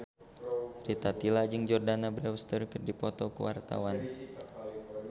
Rita Tila jeung Jordana Brewster keur dipoto ku wartawan